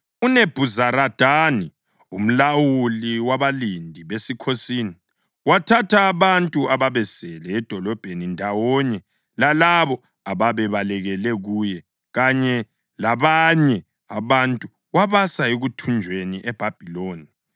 UNebhuzaradani umlawuli wabalindi besikhosini, wathatha abantu ababesele edolobheni ndawonye lalabo ababebalekele kuye kanye labanye abantu wabasa ekuthunjweni eBhabhiloni.